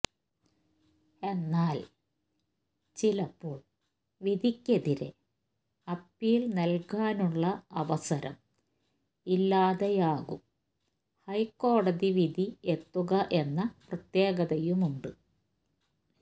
എന്നാൽ ചിലപ്പോൾ വിധിക്കെതിരെ അപ്പീൽ നല്കാൻ ഉള്ള അവസരം ഇല്ലാതെയാകും ഹൈ കോടതി വിധി എത്തുക എന്ന പ്രത്യേകതയുമുണ്ട്